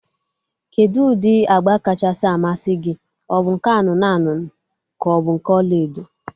Kedụ ụdị agba kachasị amasị gị? Ọ bụ nke anụnụ anụnụ ka ọ bụ nke ọlaedo?